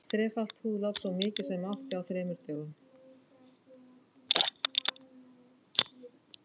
Þrefalt húðlát, svo mikið sem mátti, á þremur dögum.